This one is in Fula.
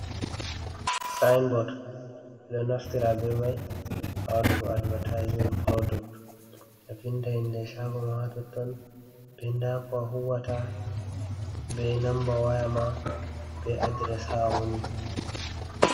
"Sinbot" ɓe ɗo naftira be mai ha wadugo advertismen product a vinda inde shago ma ha totton be ndako a huwata be namba wayama be adires ha a woni.